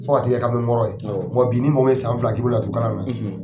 Fo ka t'i kɛ kamalen kɔrɔ ye, wa bi ni mɔgɔ min ye san fila kɛ ki bɛ laturu kalan na